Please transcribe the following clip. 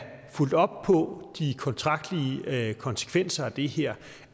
fulgt op på de kontraktlige konsekvenser af det her